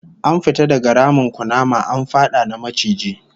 An fita daga ramin kunama, an fada na maciji